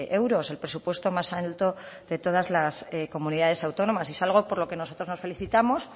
euros el presupuesto más alto de todas las comunidades autónomas es algo por lo que nosotros nos felicitamos